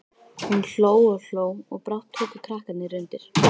Hún hló og hló og brátt tóku krakkarnir undir.